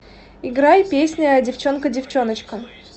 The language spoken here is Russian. играй песня девчонка девчоночка